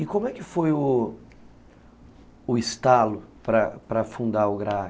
E como é que foi o estalo para fundar o GRAAC?